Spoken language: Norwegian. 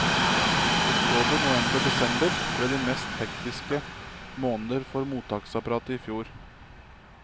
Oktober, november og desember ble de mest hektiske måneder for mottaksapparatet i fjor.